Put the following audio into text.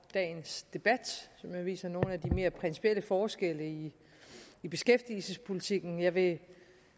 dagens debat som jo viser nogle af de mere principielle forskelle i i beskæftigelsespolitikken jeg vil